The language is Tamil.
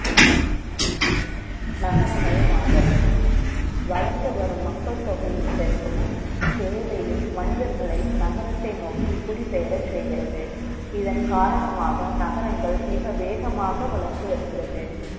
நகரமயமாதல், வளர்ந்து வரும் மக்கள் த ொகை யின் பெ ருக்கமும், தே வை யும், மனிதர்களை, நகரத்தை ந ோக்கி, குடிபெ யரச் செய்கிறது. இதன் காரணமாக, நகரங்கள், மிக வே கமாக வளர்ந்து வருகிறது.